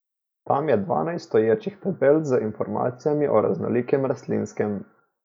Tam je dvanajst stoječih tabel z informacijami o raznolikem rastlinskem.